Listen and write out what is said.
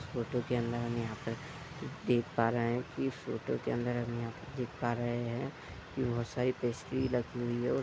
photo के अंदर हम यहाँ पे देख पा रहे हैं कि फ़ोटो के अंदर हम देख पा रहे हैं कि बोहत सारी पेस्ट्री रखी हुई है और --